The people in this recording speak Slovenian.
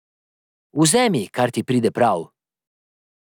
Vzemi, kar ti pride prav.